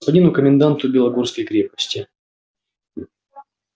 господину коменданту белогорской крепости